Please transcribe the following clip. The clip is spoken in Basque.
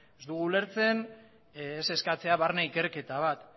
ez dugu ulertzen ez eskatzea barne ikerketa bat